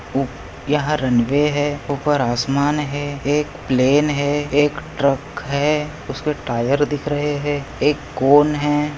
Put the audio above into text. यहा रनवे है उपर आसमान है एक प्लेन है एक ट्रक है उसके टायर दिख रहे है एक गोन है।